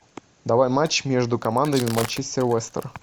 давай матч между командами манчестер лестер